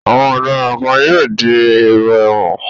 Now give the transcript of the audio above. Awọn ọ̀daràn kan yóò di èrò ẹ̀wọ̀n.